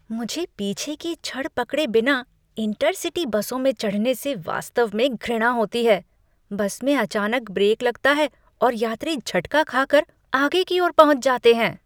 मुझे पीछे की छड़ पकड़े बिना इंटर सिटी बसों में चढ़ने से वास्तव में घृणा होती है। बस में अचानक ब्रेक लगता है और यात्री झटका खा कर आगे की ओर पहुँच जाते हैं।